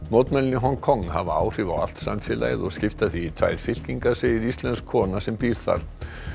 mótmælin í Hong Kong hafa áhrif á allt samfélagið og skipta því í tvær fylkingar segir íslensk kona sem býr þar